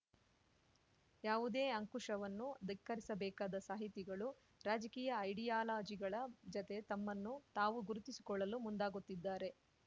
ಯಾವುದೇ ಅಂಕುಶವನ್ನೂ ಧಿಕ್ಕರಿಸಬೇಕಾದ ಸಾಹಿತಿಗಳು ರಾಜಕೀಯ ಐಡಿಯಾಲಜಿಗಳ ಜತೆ ತಮ್ಮನ್ನು ತಾವು ಗುರುತಿಸಿಕೊಳ್ಳಲು ಮುಂದಾಗುತ್ತಿದ್ದಾರೆ